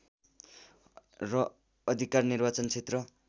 र अधिकार निर्वाचन क्षेत्र